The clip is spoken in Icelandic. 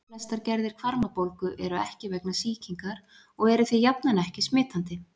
Flestar gerðir hvarmabólgu eru ekki vegna sýkingar og eru því jafnan ekki smitandi.